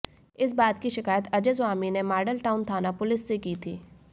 इस बात की शिकायत अजय स्वामी ने माडल टाउन थाना पुलिस से की थी